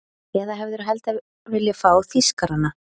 Eða hefðirðu heldur viljað fá Þýskarana?